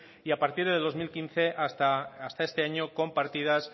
y a partir del dos mil quince hasta este año con partidas